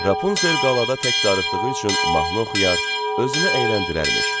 Rapunzel qalada tək darıxdığı üçün mahnı oxuyar, özünü əyləndirərmiş.